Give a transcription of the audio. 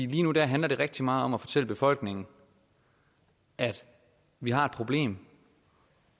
lige nu handler det rigtig meget om at fortælle befolkningen at vi har et problem